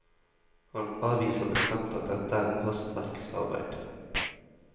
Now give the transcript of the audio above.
Han avviser bestemt at dette er hastverksarbeid.